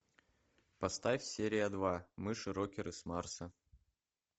поставь серия два мыши рокеры с марса